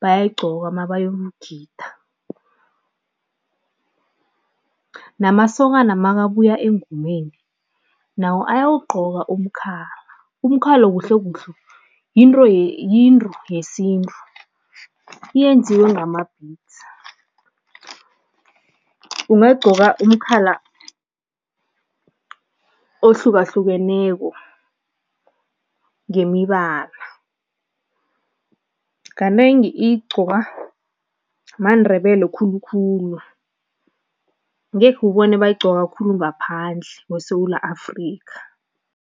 bayayigqoka mabayokugida, namasokana makabuya engomeni, nawo ayawugqoka umkhala. Umkhala kuhlekuhle yinto yinto yesintu, iyenziwe ngama-beads, ungagqoka umkhala ohlukahlukeneko ngemibala. Kanengi igqokwa maNdebele khulukhulu, ngekhe ubone bayigqoka khulu ngaphandle kweSewula Afrika.